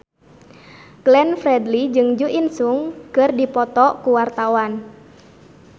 Glenn Fredly jeung Jo In Sung keur dipoto ku wartawan